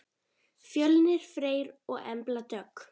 Fjölnir Freyr og Embla Dögg.